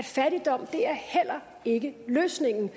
fattigdom er heller ikke løsningen